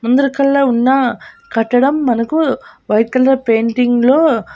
అందరికల్ల ఉన్నా కట్టడం మనకు వైట్ కలర్ పెయింటింగ్ లో --